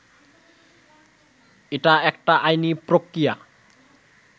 এটা একটা আইনি প্রক্রিয়া